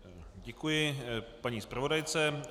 Děkuji paní zpravodajce.